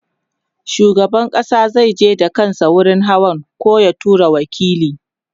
shugaban ƙasa zai je da kansa wurin hawan koh ya tura waƙili